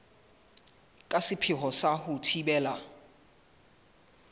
ka sepheo sa ho thibela